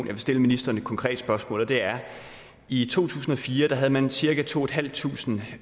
vil stille ministeren et konkret spørgsmål og det er i to tusind og fire havde man cirka to tusind